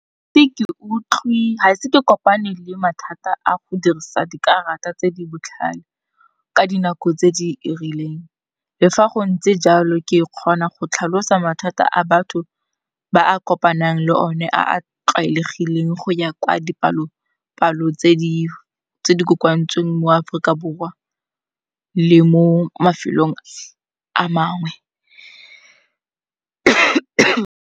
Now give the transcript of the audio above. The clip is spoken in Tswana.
Gaise ke kopane le mathata a go dirisa dikarata tse di botlhale ka dinako tse di rileng, le fa go ntse jalo ke kgona go tlhalosa mathata a batho ba a kopanang le o ne a a tlwaelegileng go ya kwa dipalopalo tse di kokoantsweng mo Aforika Borwa le mo mafelong a mangwe.